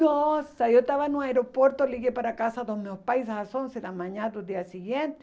Nossa, eu estava no aeroporto, liguei para casa dos meus pais às onze da manhã do dia seguinte.